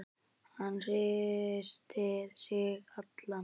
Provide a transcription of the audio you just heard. Hann hristir sig allan.